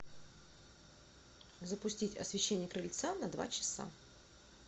запустить освещение крыльца на два часа